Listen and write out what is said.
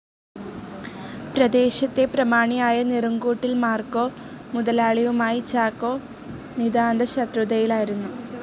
പ്രദേശത്തെ പ്രമാണിയായ നീറുംകൂട്ടിൽ മാർക്കോ മുതലാളിയുമായി ചാക്കോ നിതാന്തശത്രുതയിലായിരുന്നു.